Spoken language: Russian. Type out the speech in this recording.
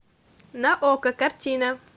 на окко картина